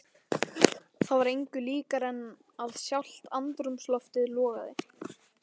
Það var engu líkara en að sjálft andrúmsloftið logaði.